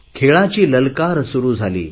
खेळाची ललकार सुरु झाली